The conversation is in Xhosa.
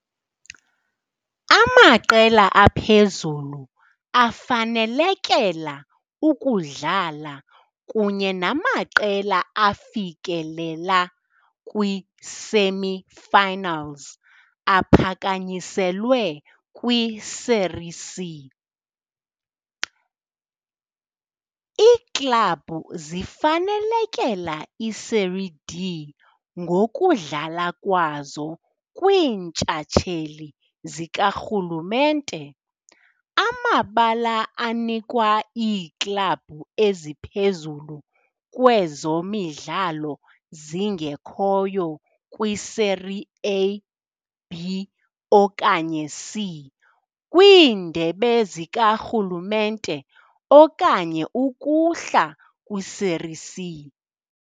Amaqela aphezulu afanelekela ukudlala kunye namaqela afikelela kwi-semi-finals aphakanyiselwe kwi-Série C. Iiklabhu zifanelekela iSérie D ngokudlala kwazo kwiintshatsheli zikarhulumente - amabala anikwa iiklabhu eziphezulu kwezo midlalo zingekhoyo kwi-Série A, B okanye C- kwiindebe zikarhulumente okanye ukuhla kwi-Série C.